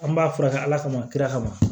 An b'a furakɛ ala kama kira kama